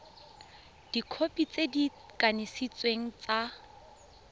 dikhopi tse di kanisitsweng tsa